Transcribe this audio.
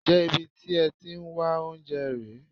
Ǹjẹ́ ibi tí ẹ ti ń wá oúnjẹ rè é?